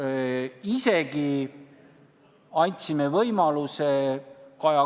Me tsiteerime natukene, Siim, sind, ja kasutame sind ära, kuigi sa tegelikult ei ole absoluutselt süüdi selles olukorras.